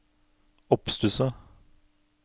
oppstusset